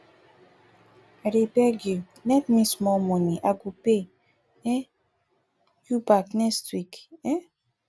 i dey beg you lend me small money i go pay um you back next week um